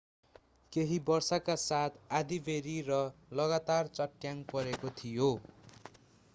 केहि वर्षाका साथ आँधिबेहरी र लगातार चट्याङ परेको थियो